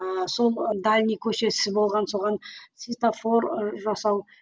ыыы сол дальний көшесі болған соған светофор ы жасау